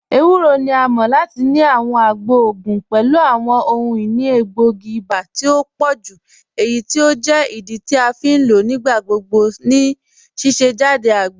Ẹwùrọ̀ ni à mọ̀ lati ni àwọn àgbọ̀ ogun pẹ̀lú àwọn ọhun-inì ègbóogi iba tì o pọ̀jú eyí tí o jẹ́ ìdí tí a fi n lọ nígbàgbọ̀gbọ̀ ní síṣẹ̀jádẹ̀ àgbọ̀.